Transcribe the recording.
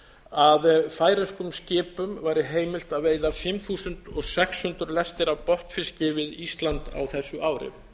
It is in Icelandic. að færeyskum skipum væri heimilt að veiða fimm þúsund sex hundruð lestir af botnfiski við ísland á þessu ári